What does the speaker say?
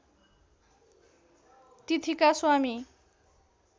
तिथिका स्वामी